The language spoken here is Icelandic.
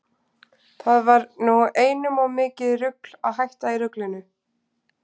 Það var nú einum of mikið rugl að hætta í ruglinu.